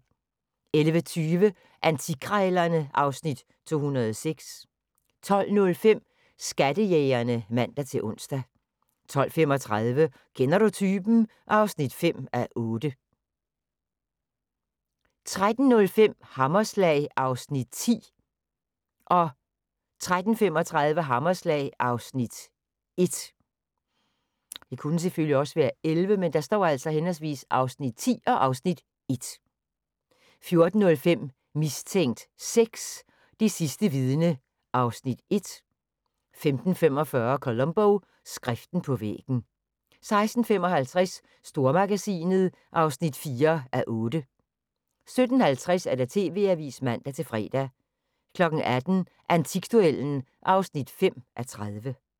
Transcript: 11:20: Antikkrejlerne (Afs. 206) 12:05: Skattejægerne (man-ons) 12:35: Kender du typen? (5:8) 13:05: Hammerslag (Afs. 10) 13:35: Hammerslag (Afs. 1) 14:05: Mistænkt 6: Det sidste vidne (Afs. 1) 15:45: Columbo: Skriften på væggen 16:55: Stormagasinet (4:8) 17:50: TV-avisen (man-fre) 18:00: Antikduellen (5:30)